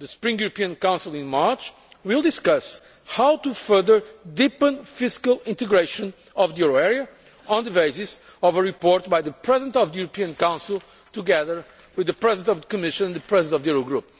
The spring European Council in March will discuss how to further deepen fiscal integration of the euro area on the basis of a report by the President of the European Council, together with the President of the Commission and the President of the Euro Group.